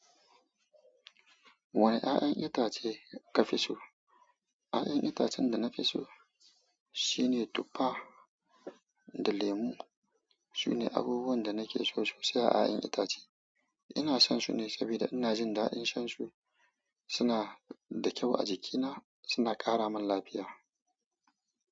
Wane ƴaƴan itace kafi so? Ƴaƴan itacen da nafi so shine tuffa da lemu. Sune abubuwan da nake so sosai a ƴaƴan itace. Ina son su ne saboda ina jin daɗin shan su. Suna da kyau a jikina, suna ƙara min lafiya.